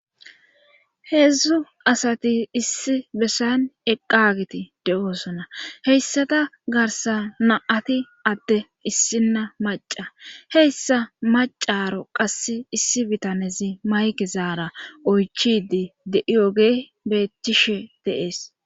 heedzdzu asati issi bessayn eqqagiti de7oosona heyssata garsa naati adte issinna maca heyssa macaro qass issi bitanezi mayke zaara oychidi de7iyogey bethctcishe deees